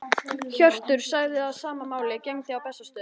Hjörtur sagði að sama máli gegndi á Bessastöðum.